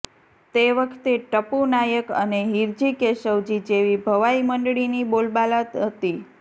તે વખતે ટપુ નાયક અને હીરજી કેશવજી જેવી ભવાઈ મંડળીની બોલબાલા હતી